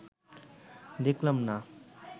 দেখলাম, না